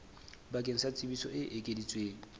bakeng sa tsebiso e ekeditsweng